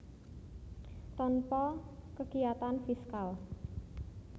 Tanpa kekiyatan fiskal